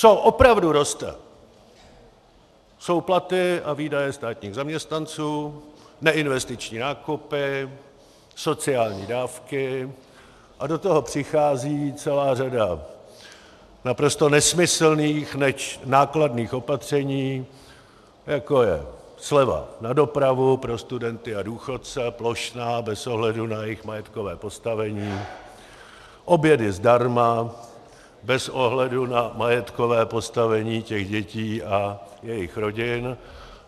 Co opravdu roste, jsou platy a výdaje státních zaměstnanců, neinvestiční nákupy, sociální dávky a do toho přichází celá řada naprosto nesmyslných, leč nákladných opatření, jako je sleva na dopravu pro studenty a důchodce, plošná, bez ohledu na jejich majetkové postavení, obědy zdarma bez ohledu na majetkové postavení těch dětí a jejich rodin.